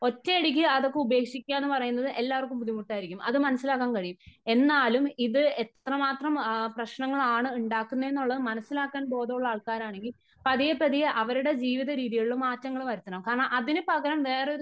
ഒറ്റയടിക്ക് അതൊക്കെ ഉപേക്ഷിക്കുക എന്ന് പറയുന്നത് എല്ലാവർക്കും ബുദ്ധിമുട്ടായിരിക്കും.അത് മനസ്സിലാക്കാൻ കഴിയും . എന്നാലും ഇത് എത്ര മാത്രം പ്രശ്നങ്ങൾ ആണ് ഉണ്ടാക്കുന്നേ എന്ന് മനസ്സിലാക്കാൻ ബോധമുള്ള ആൾക്കാരാണെങ്കില് പതിയെ പതിയെ അവരുടെ ജീവിത രീതികളില് മാറ്റങ്ങള് വരുത്തണം . കാരണം അതിനു പകരം വേറെ ഒരു